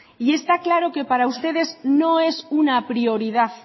y está claro que para ustedes no es una prioridad